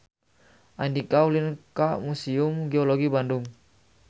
Andika ulin ka Museum Geologi Bandung